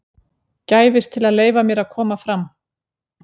gæfist til að leyfa mér að koma fram.